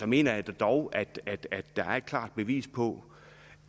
mener jeg dog er et klart bevis på